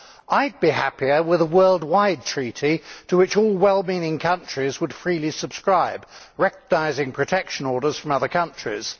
I would be happier with a worldwide treaty to which all well meaning countries would freely subscribe, recognising protection orders from other countries.